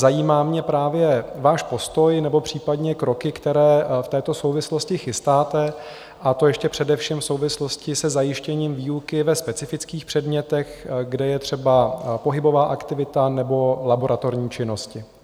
Zajímá mě právě váš postoj nebo případně kroky, které v této souvislosti chystáte, a to ještě především v souvislosti se zajištěním výuky ve specifických předmětech, kde je třeba pohybová aktivita nebo laboratorní činnosti.